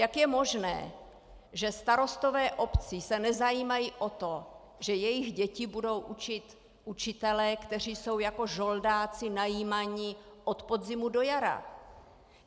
Jak je možné, že starostové obcí se nezajímají o to, že jejich děti budou učit učitelé, kteří jsou jako žoldáci najímaní od podzimu do jara?